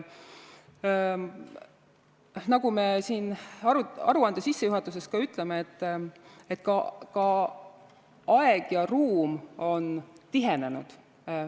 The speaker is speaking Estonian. Nagu me aruande sissejuhatuses ka ütleme, ka aeg ja ruum on tihenenud.